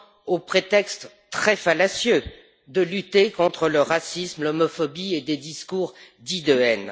au prétexte très fallacieux de lutter contre le racisme, l'homophobie et des discours dits de haine.